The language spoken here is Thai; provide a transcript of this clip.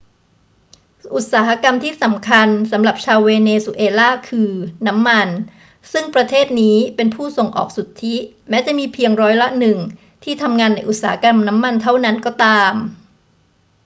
อุตสาหกรรมที่สำคัญสำหรับชาวเวเนซุเอลาคือน้ำมันซึ่งประเทศนี้เป็นผู้ส่งออกสุทธิ แม้จะมีเพียงร้อยละหนึ่งที่ทำงานในอุตสาหกรรมน้ำมันเท่านั้นก็ตาม